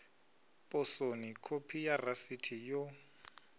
posoni khophi ya rasiti yo